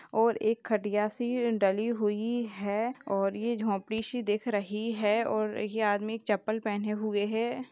और एक खटिया सी डली हुई है और ये झोपड़ी सी दिख रही है और ये आदमी चप्पल पहने हुए है।